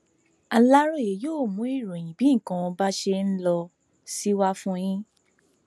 aláròye yóò mú ìròyìn bí gbogbo nǹkan bá ṣe ló sì wà fún yín